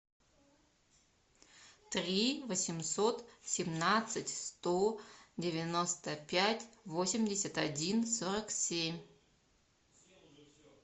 три восемьсот семнадцать сто девяносто пять восемьдесят один сорок семь